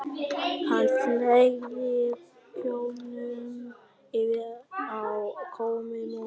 Hann fleygði kjólnum yfir á kommóðuna undir glugganum.